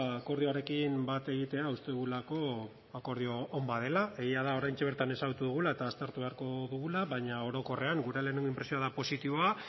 akordioarekin bat egitea uste dugulako akordio on bat dela egia da oraintxe bertan ezagutu dugula eta aztertu beharko dugula baina orokorrean gure lehenengo inpresioa da positiboa